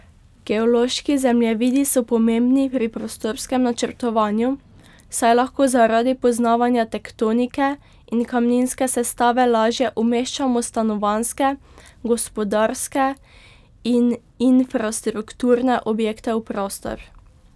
Geološki zemljevidi so pomembni pri prostorskem načrtovanju, saj lahko zaradi poznavanja tektonike in kamninske sestave lažje umeščamo stanovanjske, gospodarske in infrastrukturne objekte v prostor.